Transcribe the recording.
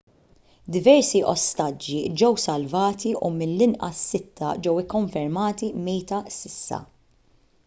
diversi ostaġġi ġew salvati u mill-inqas sitta ġew ikkonfermati mejta s'issa